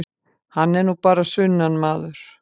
Hann er nú bara sunnanmaður.